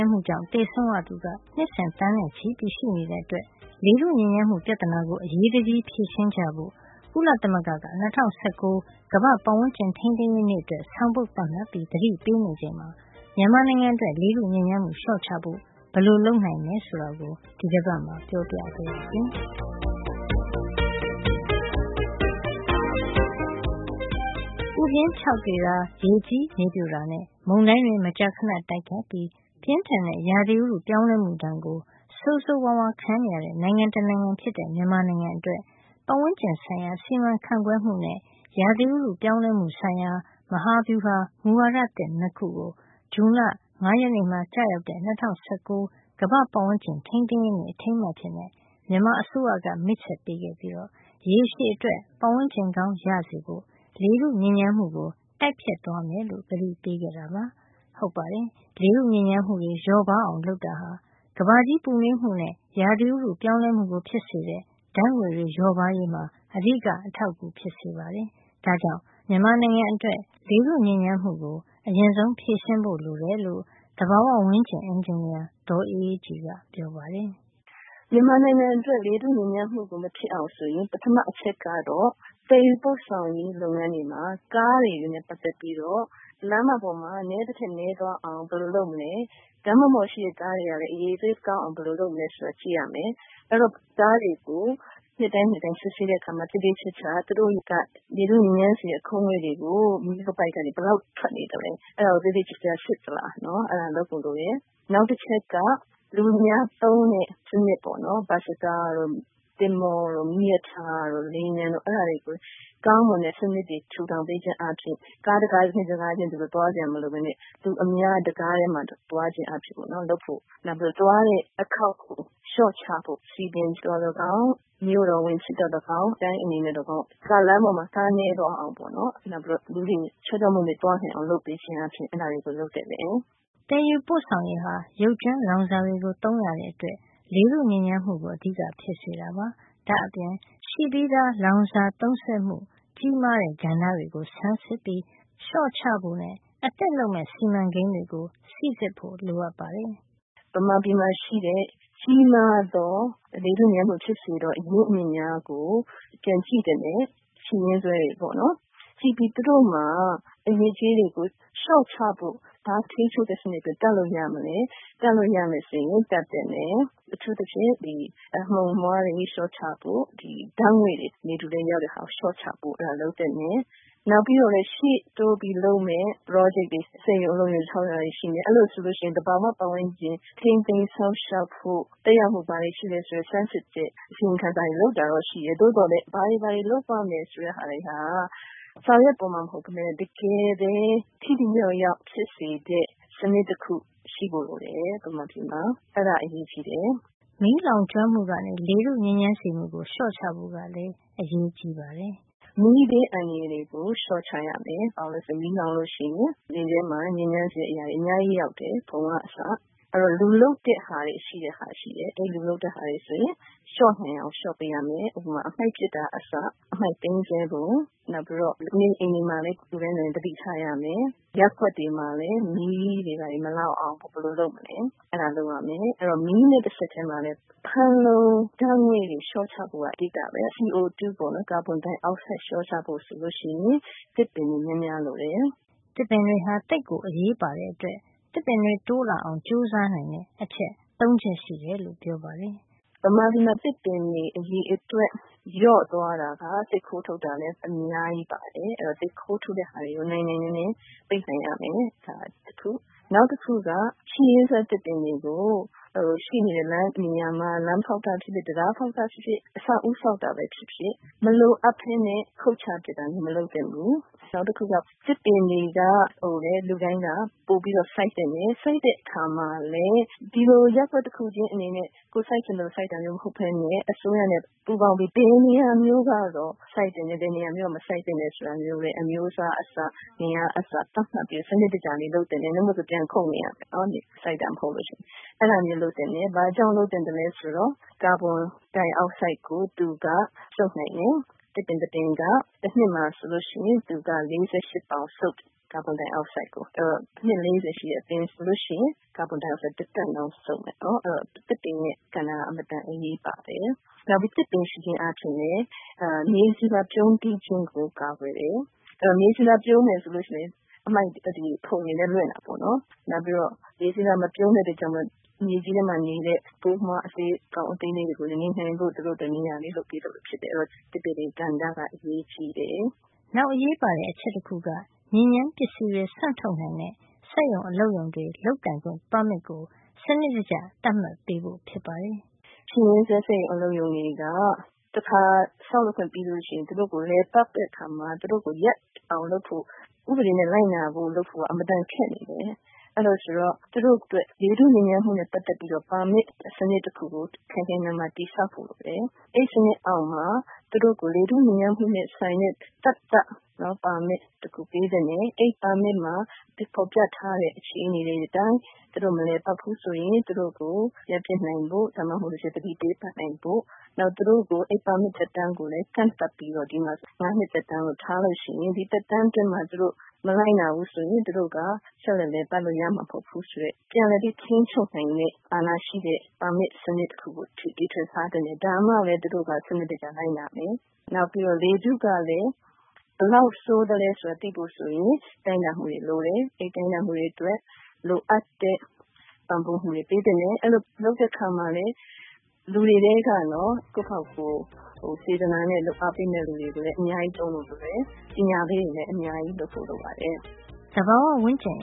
်းမှုကြောင့် သေဆုံးရသူ နှစ်စဉ် သန်းနဲ့ချီရှိနေတာကြောင့် လေထုညစ်ညမ်းမှု ပြဿနာကို အရေးတကြီး ဖြေရှင်းကြဖို့ ကုလသမဂ္ဂက ၂၀၁၉ ကမ္ဘာ့ပတ်ဝန်းကျင် ထိန်းသိမ်းရေးနေ့အတွက် ဆောင်ပုဒ်သတ်မှတ်ပြီး သတိပေးနေချိန်မှာ မြန်မာနိုင်ငံအတွက် လေထုညစ်ညမ်းမှု လျှော့ချဖို့ ဘယ်လိုလုပ်နိုင်တယ် ဆိုတာကို ဒီတပတ်မှာ ပြောပြပါရစေ။ ပူပြင်းခြောက်သွေ့တာ၊ ရေကြီးမြေပြိုတာနဲ့ မုန်တိုင်းတွေ မကြာခဏတိုက်ခတ်ပြီး ပြင်းထန်တဲ့ ရာသီဥတု ပြောင်းလဲမှုဒဏ်ကို ဆိုးဆိုးဝါးဝါး ခံနေရတဲ့ နိုင်ငံတနိုင်ငံဖြစ်တဲ့ မြန်မာနိုင်ငံ အတွက် ပတ်ဝန်းကျင်ဆိုင်ရာ စီမံခန့်ခွဲမှုနဲ့ ရာသီဥတုပြောင်းလဲမှုဆိုင်ရာ မဟာဗျူဟာ မူဝါဒသစ် ၂ ခုကို ဇွန်လ ၅ ရက်နေ့မှာ ကျရောက်တဲ့ ၂၀၁၉ ကမ္ဘာ့ပတ်ဝန်းကျင်ထိန်းသိမ်းရေးနေ့ အထိန်းအမှတ် အဖြစ် မြန်မာအစိုးရက မိတ်ဆက်ပေးခဲ့ပြီး ရေရှည်အတွက် ပတ်ဝန်းကျင်ကောင်းရဖို့ လေထုညစ်ညမ်းမှုကို တိုက်ဖျက်သွားမယ်လို့ ကတိပေးခဲ့ပါတယ်။ ဟုတ်ပါတယ်။ လေထုညစ်ညမ်းမှု လျော့ပါးအောင် လုပ်တာဟာ ကမ္ဘာကြီးပူနွေးမှုနဲ့ ရာသီဥတုပြောင်းလဲမှုကို ဖြစ်စေတဲ့ ဓါတ်ငွေ့တွေလျော့ပါးရေးမှာ အဓိက အထောက်အကူဖြစ်စေ ပါတယ်။ ဒါ့ကြောင့် မြန်မာနိုင်ငံအတွက် လေထုညစ်ညမ်းမှုကို အရင်ဆုံး ဖြေရှင်းဖို့ လိုတယ်လို့ သဘာဝဝန်းကျင် အင်ဂျင်နီယာ ဒေါ်အေးအေးကြည်က ပြောပါတယ်။ ဒေါ်အေးအေးကြည်။ ။“ မြန်မာနိုင်ငံအတွက် လေထုညစ်ညမ်းမှု မဖြစ်အောင် ဆိုရင် ပထမဆုံးက သယ်ယူပို့ဆောင်ရေး လုပ်ငန်းတွေနဲ့ ပတ်သက်ပြီး ကားတွေ လမ်းမတွေပေါ်မှာ နဲနိုင်သမျှ နဲသွား အောင် ဘယ်လိုလုပ်မလဲ၊ လမ်းတွေပေါ်က ကားတွေ အရည်အသွေးကောင်းအောင် ဘယ်လို လုပ်မလဲ ဆိုတာ ကြည့်ရမယ်။ နောက် ကားတွေကို နှစ်တိုင်းနှစ်တိုင်း စစ်ဆေးတဲ့ အခါမှာ သူတို့က လေထုညစ်ညမ်းစေတဲ့ အခိုးတွေ မီးခိုးပိုက်ကနေ ဘယ်လောက်ထွက်နေတယ် ဆိုတာကို သေသေချာချာ စစ်သလား။ သေချာကြည့်ဖို့ လိုတယ်။ နောက် လူအများသုံးတဲ့ စံနစ် - ဘတ်စကား တို့၊ သင်္ဘောတို့၊ မီးရထားတို့၊ လေယာဉ်ပျံတို့၊ အဲဒါတွေကို ကောင်းမွန်တဲ့ စံနစ်ထူထောင် ပေးခြင်း အားဖြင့် ကားတကားချင်း သွားစရာ မလိုပဲနဲ့ လူအများ တကားထဲမှာ သွားနိုင်အောင် လုပ်ဖို့လိုပါတယ်။ ဒါ့အပြင် သွားတဲ့ အခေါက်ရေကို လျှော့ချဖို့ လုပ်ရမှာပါ။၊ စည်ပင်ဖြစ်စေ၊ မြို့တော်ဝန်ဖြစ်စေ၊ တိုင်းအင်ဂျင်နီယာ ကဖြစ်စေက လမ်းမတွေပေါ်မှာ ကာအစင်းရေ နဲသွားအောင်နဲ့ လူတွေ ချောချောမောမော သွားနိုင်အောင် အဲဒါမျိုးတွေ လုပ်ပေးသင့်ပါတယ်။” သယ်ယူပို့ဆောင်ရေးဟာ ရုပ်ကြွင်းလောင်စာတွေကို သုံးရတဲ့အတွက် လေထုညစ်ညမ်းမှုကို အဓိကဖြစ်စေတာပါ။ ဒါ့အပြင် ရှိပြီးသား လောင်စာသုံးစွဲမှု ကြီးမားတဲ့ကဏ္ဍတွေကို ဆန်းစစ်ပြီး လျှော့ချဖို့ အသစ်လုပ်မယ့် စီမံကိန်းတွေကို စီစစ်ဖို့ လိုပါတယ်။ ဒေါ်အေးအေးကြည်။ ။“မြန်မာပြည်မှာ ရှိတဲ့ ကြီးမားသော လေထုညစ်ညမ်းမှု ဖြစ်စေသော၊ အရင်းအမြစ်များကို ပြန်ကြည့်သင့်တယ်။ ရှိရင်းစွဲတွေကိုပေါ့နော်။ သူတို့မှာ အညစ်အကြေးတွေကို လျှော့ချဖို့၊ ဘယ်လို ထိန်းချုပ်တဲ့ စံနစ်တွေ တပ်လို့ ရမလဲ၊ တပ်လို့ ရမယ် ဆိုရင် တပ်သင့်တယ်။ အထူးသဖြင့် အမှုန်အမွှားတွေ လျှော့ချဖို့၊ ဓါတ်ငွေ့တွေ လေထုထဲ ရောက်မယ့်ဟာကို လျှော့ချသင့်တယ်။ နောက်ပြီးတော့လဲ ရှေ့တိုးပြီး လုပ်မယ့် ပရောဂျက်တွေ စက်ရုံအလုပ်ရုံ ဆောက်တာတွေ ရှိမယ်။ အဲဒီလို ဆိုရင် သဘာဝ ဝန်းကျင် ထိန်းသိမ်းစောင့်ရှောက်ဖို့၊ သက်ရောက်မှု ဘာတွေ ရှိသလဲ ဆိုတာ ဆန်းစစ်ဖို့ပါ။ အစီရင်ခံစာတွေ လုပ်တာတော့ ရှိတယ်။ သို့သော်လည်း ဘာတွေ လုပ်ရမယ် ဆိုတာက စာရွက်ပေါ်မှာတင် ရှိတာ မဟုတ်ပဲနဲ့ တကယ်ပဲ ထိထိရောက်ရောက် ဖြစ်စေတဲ့၊ စံနစ်တခု ရှိဖို့ လိုတယ်။ အဲဒါ အရေးကြီးတယ်။” မီးလောင်ကျွမ်းမှုကနေ လေထုညစ်ညမ်းစေမှုကို လျှော့ချဖို့ ကလည်း အရေးကြီးပါတယ်။ ဒေါ်အေးအေးကြည်။ ။“မီးဘေးအန္တရာယ်ကို လျှော့ချရမယ်။ ဘာလို့လည်းဆိုတော့ မီးလောင်ပြီ ဆိုရင် လေထဲမှာ ညစ်ညမ်းစေတဲ့ အရာတွေ အများကြီးရောက်တယ်။ ဖုံက အစ။ အဲဒီတော့ လူလုပ်တဲ့ ဟာတွေကြောင့် ဖြစ်လာတာ မျိုးကို လျှော့နိုင်သမျှ လျှော့ပေးရမယ်။ ဥပမာ အမှိုက်ပစ်တာက အစ အမှိုက်သိမ်းတာ၊ လူနေအိမ်တွေမှာ သတိထားရမယ်။ ရပ်ကွက်တွေ မှာလည်း မီးမလောင်အောင် ဘယ်လိုလုပ်မလဲ ဆိုတာ တွေ ကြိုတင် လုပ်ထားရမယ်။ အဲဒီ မီးနဲ့ တဆက်ထဲမှာပဲ ဖန်လုံအိမ် ဓါတ်ငွေ့ တွေ လျှော့ချဖို့က အဓိကပဲ။ CO2 ကာဗွန်ဒိုင်အောက်ဆိုဒ် ဓါတ်တွေ လျှော့ချဖို့ ဆိုရင် သစ်ပင်တွေ များများ ရှိဖို့လိုတယ်။” သစ်ပင်တွေဟာ သိပ်ကိုအရေးပါတဲ့အတွက် သစ်ပင်တွေတိုးလာအောင် ကြိုးစားနိုင်တဲ့ အချက် ၃ ချက်ရှိတယ်လို့ ပြောပါတယ်။ ဒေါ်အေးအေးကြည်။ ။“မြန်မာပြည်မှာ သစ်ပင်တွေ အရေအတွက် လျော့သွားတာက သစ်ခိုးထုတ် တာက အများကြီးပါတယ်။ အဲဒီတော့ သစ်ခိုးထုတ်တာတွေကို နိုင်နိုင်နင်းနင်း ပိတ်ပင်ရမယ်။ နောက်တခုက ရှိရင်းစွဲ သစ်ပင်တွေအတွက် ဒီသစ်ပင်တွေကို လမ်းဖေါက်တာဖြစ်ဖြစ်၊ တံတား ဆောက်တာဖြစ်ဖြစ်၊ အဆောက်အဦး ဆောက်တာပဲ ဖြစ်ဖြစ် မလိုအပ်ပဲနဲ့ ခုတ်ချပစ်တာမျိုး မလုပ်သင့် ဘူး။ နောက်တချက်က သစ်ပင်တွေကို လူတိုင်း ပိုပြီး စိုက်သင့်တယ်။ စိုက်တဲ့အခါမှာလည်း ဒီလို ရပ်ကွက်တခုချင်း အနေနဲ့ ကိုယ်စိုက်ချင်သလို စိုက်တာမျိုး မဟုတ်ပဲနဲ့ အစိုးရနဲ့ ပူးပေါင်းပြီး ဘယ်နေရာမျိုး ကတော့ စိုက်သင့်တယ်။ ဘယ်နေရာမျိုးက မစိုက်သင့်ဘူးလဲ ဆိုတာ၊ အမျိုးအစားက အစ၊ ဘယ်နှစ်ပင် ဆိုတာကအစ သတ်မှတ်ပြီး စံနစ်တကျ လုပ်သင့်တယ်။ ဒီလိုမလုပ်ရင် ပြန်ခုတ်နေရ မယ်။ စိုက်တာ မဟုတ်လို့ ရှိရင်။ ဒီလို ဘာကြောင့် လုပ်သင့်သလဲ ဆိုတော့ ကာဗွန်ဒိုင်အောက်ဆိုဒ် ကို သူက စုပ်ယူနိုင်တယ်။ သစ်ပင်တပင်က တနှစ်မှာ ဆိုရင် သူက ကာဗွန်ဒိုင်အောက်ဆိုဒ် ၄၈ ပေါင် စုပ်ယူတယ်။ အဲဒီတော့ အနှစ် ၄၀ ရှိတဲ့ အပင်ဆိုလို့ရှိရင် ကာဗွန်ဒိုင်အောက်ဆိုဒ်ကို တတန်လောက် စုပ်ယူမယ်။ ဒါကြောင့် သစ်ပင်ရဲ့ကဏ္ဍက အင်မတန် အရေးပါပါတယ်။ နောက်ပြီး သစ်ပင်ရှိခြင်းအားဖြင့် မြေဆီလွှာ ပြုန်းတီး ခြင်းကို ကာကွယ်တယ်။ အဲဒီလို မြေဆီလွှာ ပြုန်းမယ် ဆိုရင် ဖုံတွေလည်း လွင့်တာပေါ့နော်။ နောက်ပြီး မြေဆီလွှာ မပြုန်းဘူးဆိုရင် မြေကြီးထဲမှာ နေတဲ့ ပိုးမွှားအကောင် အသေးလေးတွေ နေနိုင်ဖို့ သူတို့အတွက် နေရာလေး လုပ်ပေးသလို ဖြစ်တယ်။ အဲဒီတော့ ဒီသစ်ပင်တွေရဲ့ ကဏ္ဍက အရေးကြီးတယ်။” နောက်အရေးပါတဲ့ အချက်တခုက ညစ်ညမ်းပစ္စည်းတွေ စွန့်ထုတ်နိုင်တဲ့ စက်ရုံ အလုပ်ရုံတွေ လုပ်ကိုင်ခွင့် ပါမစ်ကို စံနစ်တကျ သတ်မှတ်ပေးဖို့ဖြစ်ပါတယ်။ ဒေါ်အေးအေးကြည်။ ။“ရှိရင်းစွဲ စက်ရုံ အလုပ်ရုံတွေက တခါ ဆောက်လုပ်ခွင့် ရပြီး လည်ပတ်နေပြီ ဆိုရင် သူတို့ကို ရပ်အောင် လုပ်ဖို့၊ ဥပဒေ လိုက်နာအောင် လုပ်ဖို့က အင်မတန် ခက်နေတယ်။ ဒါကြောင့် သူတို့အတွက် လေထုညစ်ညမ်းမှုနဲ့ ပတ်သက်ပြီးတော့ ပါမစ်စံနစ် တခုကို ခိုင်ခိုင်မာမာ တည်ဆောက်ဖို့ အတွက် အဲဒီစံနစ်အောက်မှာ လေထုညစ်ညမ်းမှုနဲ့ ဆိုင်တဲ့ သတ်သတ် ပါမစ်တခု ပေးသင့်တယ်။ အဲဒီပါမစ်မှာ ဖေါ်ပြထားတဲ့ အခြေနေတွေ အတိုင်း သူတို့ မလည်ပတ်ဖူး ဆိုရင် သူတို့ကို ရပ်ပစ်နိုင်ဖို့၊ သူတို့ကို သတိပေးနိုင်ဖို့။ နောက်ပြီး ပါမစ်သက်တမ်းကိုလည်း ကန့်သတ်ပေးဖို့။ ဥပမာ ၅ နှစ်သက်တမ်း လို့ ထားလို့ရှိရင် ဒီသက်တမ်းအတွင်းမှာ သူတို့ မလိုက်နာဘူး ဆိုရင် သူတို့ ဆက်ပြီးလည်ပတ်လို့ မရဘူးဆိုတဲ့ ပြန်လည်ပြီးထိန်းချုပ်နိုင်တဲ့ ပါမစ် စံနစ်တခုကို ထားသင့်တယ်။ ဒါမှပဲ သူတို့က လိုက်နာမယ်။ နောက် လေထု အခြေနေ ဘယ်လောက်ဆိုးတယ် ဆိုတာ သိဖို့အတွက် တိုင်းတာဖို့ လိုတယ်။ အဲဒီလို တိုင်းတာဖို့ လိုအပ်တဲ့ ပံ့ပိုးမှုကို ပေးသင့်တယ်။ ဒီလို လုပ်တဲ့အခါ စေတနာနဲ့ လုပ်အားပေးမယ့်သူ အများကြီး သုံးဖို့ လိုသလို ပညာပေးတွေလည်း အများကြီး လုပ်ဖို့ လိုပါတယ်။” သဘာဝဝန်းကျင်